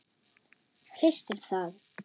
Hristir það.